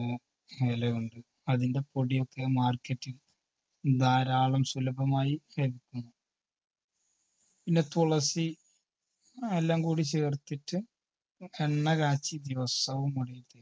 ഇലയുണ്ട് അതിൻറെ പൊടിയൊക്കെ market ൽ ധാരാളം സുലഭമായി പിന്നെ തുളസി എല്ലാം കൂടി ചേർത്തിട്ട് എണ്ണ കാച്ചി ദിവസവും മുടിയിൽ തേയ്